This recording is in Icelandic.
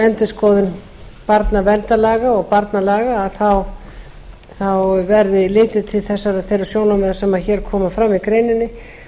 endurskoðun barnaverndarlaga og barnalaga verði litið til þeirra sjónarmiða sem hér koma fram í greininni